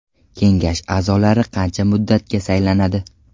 Kengash a’zolari qancha muddatga saylanadi?